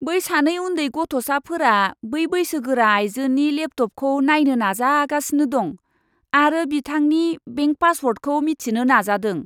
बै सानै उन्दै गथ'साफोरा बै बैसोगोरा आइजोनि लेपटपखौ नायनो नाजागासिनो दं आरो बिथांनि बेंक पासवर्डखौ मिथिनो नाजादों।